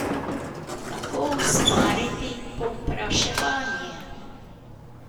Kako ustvariti povpraševanje?